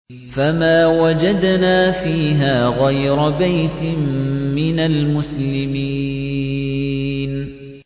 فَمَا وَجَدْنَا فِيهَا غَيْرَ بَيْتٍ مِّنَ الْمُسْلِمِينَ